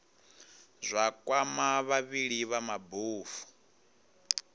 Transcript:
zwa kwama vhavhali vha mabofu